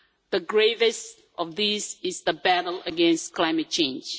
The gravest of these is the battle against climate change.